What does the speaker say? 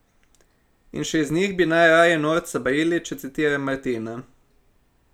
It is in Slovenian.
In še iz njih bi najraje norca brili, če citiram Martina.